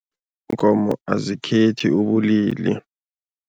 Iinkomo azikhethi ubulili.